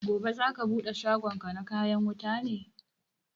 Gobe za ka bude shagon ka na kayan wuta ne?